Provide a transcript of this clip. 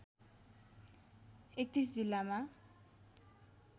३१ जिल्लामा